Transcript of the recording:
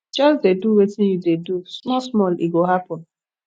just dey do wetin you dey do small small e go happen